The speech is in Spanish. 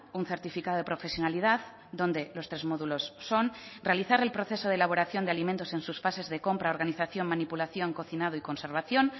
un certifica de profesionalidad donde los tres módulos son realizar el proceso de elaboración de alimentos en sus fases de compra organización manipulación cocinado y conservación